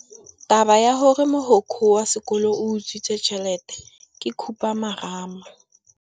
Taba ya gore mogokgo wa sekolo o utswitse tšhelete ke khupamarama.